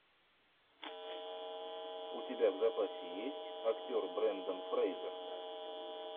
у тебя в запасе есть актер брендан фрейзер